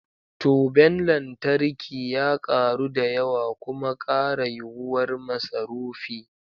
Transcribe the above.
Toben lantarki ya karu da yawa kuma kara yuwuwar masarufi.